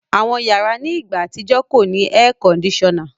Àwọn yàrà ni ìgbà atijọ̀ kọ ni awọn èèkọ́ndìsọ́na.